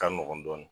Ka nɔgɔn dɔɔnin